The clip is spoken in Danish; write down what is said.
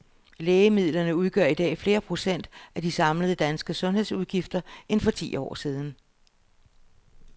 Lægemidler udgør i dag flere procent af de samlede danske sundhedsudgifter end for ti år siden.